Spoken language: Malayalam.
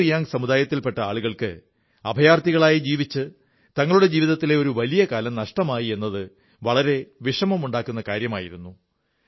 ബ്രു റിയാംഗ് സമുദായത്തിൽ പെട്ട ആളുകൾക്ക് അഭയാർഥികളായി ജീവിച്ച് തങ്ങളുടെ ജീവിതത്തിലെ ഒരു വലിയ കാലം നഷ്ടമായി എന്നത് വളരെ വിഷമമുണ്ടാക്കുന്ന കാര്യമായിരുന്നു